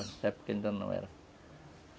Nessa época ele ainda não era.